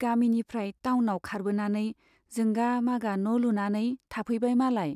गामिनिफ्राइ टाउनाव खारबोनानै जोंगा मागा न' लुनानै थाफैबाय मालाय।